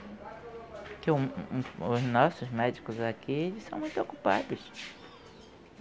Porque o o os nossos médicos aqui, eles são muito ocupados.